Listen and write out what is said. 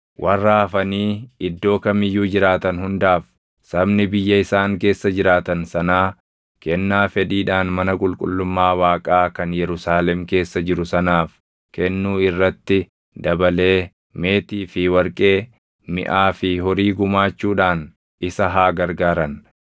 Warra hafanii iddoo kam iyyuu jiraatan hundaaf sabni biyya isaan keessa jiraatan sanaa kennaa fedhiidhaan mana qulqullummaa Waaqaa kan Yerusaalem keessa jiru sanaaf kennuu irratti dabalee meetii fi warqee, miʼaa fi horii gumaachuudhaan isa haa gargaaran.’ ”